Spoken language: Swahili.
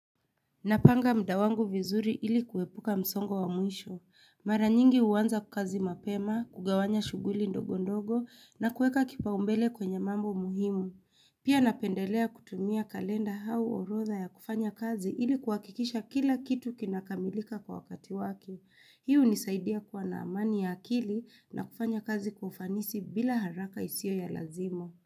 Napanga mdawangu vizuri ili kuwepuka msongo wa muisho. Mara nyingi uwanza kazi mapema, kugawanya shuguli ndogo ndogo na kueka kipaumbele kwenye mambo muhimu. Pia napendelea kutumia kalenda hau orotha ya kufanya kazi ili kuwakikisha kila kitu kinakamilika kwa wakati wake. Hii hunisaidia kuwa na amani ya akili na kufanya kazi kwa ufanisi bila haraka isio ya lazima.